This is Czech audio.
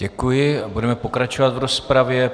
Děkuji a budeme pokračovat v rozpravě.